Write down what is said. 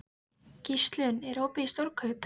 Gíslunn, er opið í Stórkaup?